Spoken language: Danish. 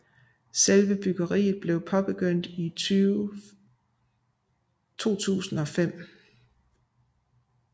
Selve byggeriet blev påbegyndt i 2005